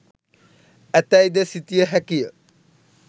ඇතැයි ද සිතිය හැකිය.